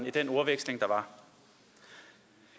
i den ordveksling der var